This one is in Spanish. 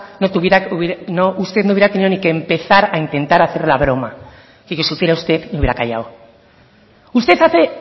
usted no hubiera ni tenido que empezar a intentar hacer la broma fíjese si fuera usted me hubiera callado usted hace